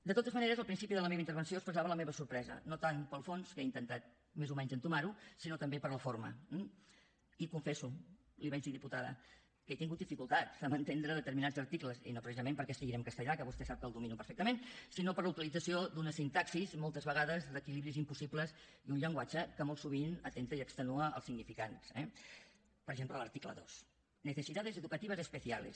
de totes maneres al principi de la meva intervenció expressava la meva sorpresa no tant pel fons que he intentat més o menys entomar ho sinó també per la forma eh i confesso l’hi vaig dir diputada que he tingut dificultats amb entendre determinats articles i no precisament perquè estiguin en castellà que vostè sap que el domino perfectament sinó per la utilització d’una sintaxi moltes vegades d’equilibris impossibles i un llenguatge que molt sovint atempta i extenua els significants eh per exemple l’article dos necesidades educativas especiales